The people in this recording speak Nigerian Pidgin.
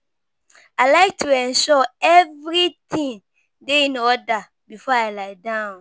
I like to ensure everything dey in order before I lie down.